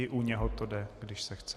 I u něho to jde, když se chce.